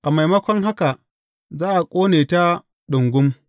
A maimako haka za a ƙone ta ɗungum.